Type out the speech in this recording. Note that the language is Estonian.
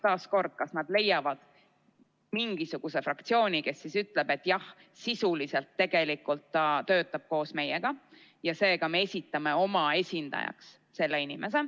Nad võivad leida mingisuguse fraktsiooni, kes ütleb, et jah, sisuliselt tegelikult ta töötab koos meiega ja seega me esitame te oma esindajaks.